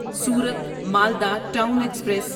صورت Malda town express